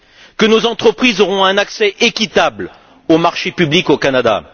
que nos entreprises auront un accès équitable aux marchés publics au Canada.